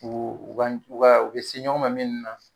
o ka o ka u bɛ se ɲɔgɔn ma minnu na.